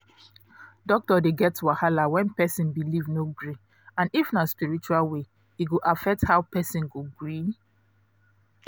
doctor dey get wahala when person belief no gree and if na spiritual way e go affect how person go gree